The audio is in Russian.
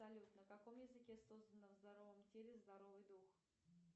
салют на каком языке создано в здоровом теле здоровый дух